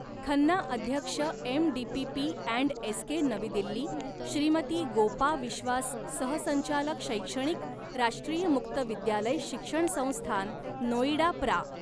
खन्ना अध्यक्ष MDPP and SK नवी दिल्ली श्रीमती गोपा विश्वास सहसंचालक शैक्षणिक राष्ट्रीय मुक्त विद्यालय शिक्षण संस्थान नोईडा प्रा.